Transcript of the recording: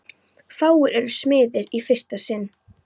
Fáir eru smiðir í fyrsta sinn.